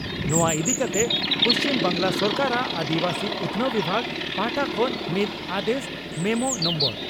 ᱱᱚᱣᱟ ᱤᱫᱤ ᱠᱟᱛᱮ ᱯᱩᱪᱷᱢ ᱵᱟᱝᱜᱽᱞᱟ ᱥᱚᱨᱠᱟᱨᱟᱜ ᱟᱹᱫᱤᱵᱟᱹᱥᱤ ᱩᱛᱷᱱᱟᱹᱣ ᱵᱤᱵᱷᱟᱜᱽ ᱯᱟᱦᱴᱟ ᱠᱷᱚᱱ ᱢᱤᱫ ᱟᱫᱮᱥ ᱢᱮᱢᱳ ᱱᱚᱢᱵᱚᱨ